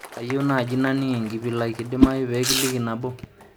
kayieu naaji nanining' enkipilai kidimayu pee kiliki napo